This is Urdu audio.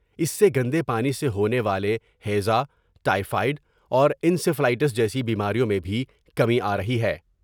اس سے گندے پانی سے ہونے والے ہیزا ، ٹائی فائڈ اور انسیفلائٹس جیسی بیماریوں میں بھی کمی آ رہی ہے ۔